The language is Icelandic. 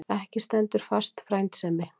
Ekki stendur fast frændsemi.